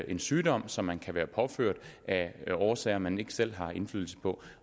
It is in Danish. en sygdom som man kan være påført af årsager man ikke selv har indflydelse på